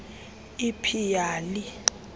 l p yali